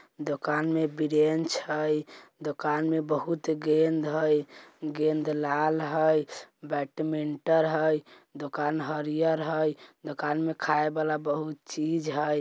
दुकान में बीरेन्च है दुकान में बहुत गेंद है गेंद लाल है बैडमिंटन है दुकान हरिहर है दुकान में खाए वाला बहुत चीज है।